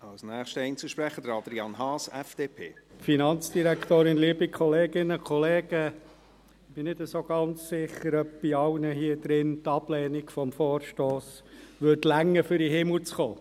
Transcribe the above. Ich bin nicht ganz sicher, ob bei allen hier drin die Ablehnung des Vorstosses ausreichen würde, um in den Himmel zu kommen.